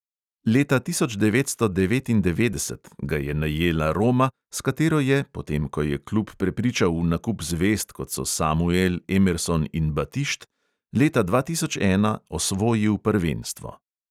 Leta tisoč devetsto devetindevetdeset ga je najela roma, s katero je, potem ko je klub prepričal v nakup zvezd, kot so samuel, emerson in batišt, leta dva tisoč ena osvojil prvenstvo.